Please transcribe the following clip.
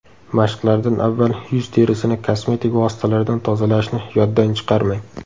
Mashqlardan avval yuz terisini kosmetik vositalardan tozalashni yoddan chiqarmang.